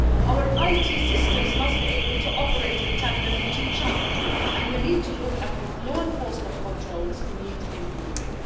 Our IT systems must be able to operate in tandem with each other, and we need to look at what law enforcement controls need improving.